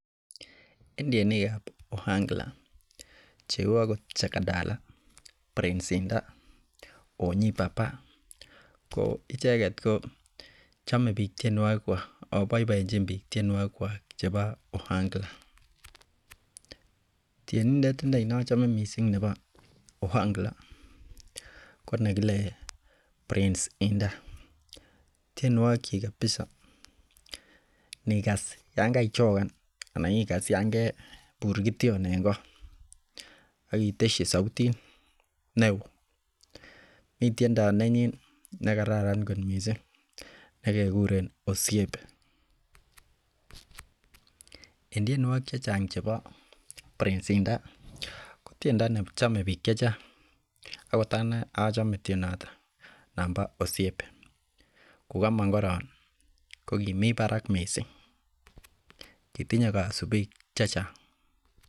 En tienikab ohangla cheu Ako jakadala prince inda, onyi papa. Ko icheket kochome bik tienuokikwak Ako boiboenjin bik tienuokikwak chebo ohangla. Tienindet inei neachome missing nebo ohangla ko nekile prince indah. Tienokikchik kabisa inikas yoonkaichogan anan ikas Yoon kebur kition en ko akitesie sautit neoo, mi tiendo nenyin nekararan kot missing nekikuren osiepe. En tienuokik chechang chebo prince inda ko tienuokik chechome bik chechang akot anee achome tiendo ton nebo osiepe kukomong koron ko kimi barak missing kitinye kosubik chechang